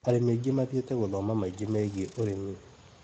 Arĩmi aingĩ mathiĩte gũthoma maingĩ megiĩ ũrĩmi.